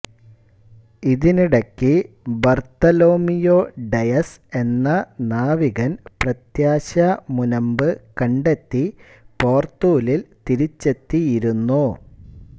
ഇതിനിടക്ക് Bartolomeu Dias എന്ന നാവികൻ പ്രത്യാശാ മുനമ്പ് കണ്ടെത്തി പോർത്തുലിൽ തിരിച്ചെത്തിയിരുന്നു